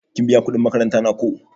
Kin biya kuɗin makaranta na ko?